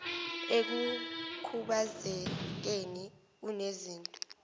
ekukhubaze keni unezinto